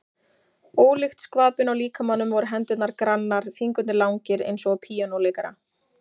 Ólíkt skvapinu á líkamanum voru hendurnar grannar, fingurnir langir eins og á píanóleikara.